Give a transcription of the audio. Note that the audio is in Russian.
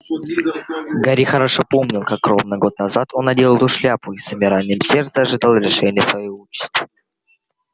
гарри хорошо помнил как ровно год назад он надел эту шляпу и с замиранием сердца ожидал решения своей участи